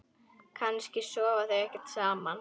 Kannski sofa þau ekkert saman?